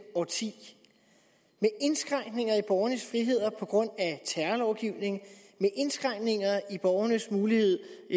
årti med indskrænkninger i borgernes friheder på grund af terrorlovgivningen med indskrænkninger i borgernes mulighed